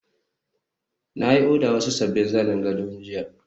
na yi odar wasu sabbin zanen gado jiya